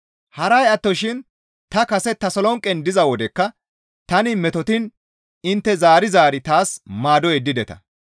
Haray attoshin ta kase Tasolonqen diza wodekka tani metotiin intte zaari zaari taas maado yeddideta.